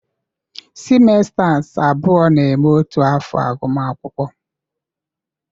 semesters abụọ na-eme otu afọ agụmakwụkwọ.